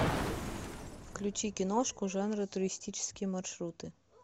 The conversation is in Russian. включи киношку жанра туристические маршруты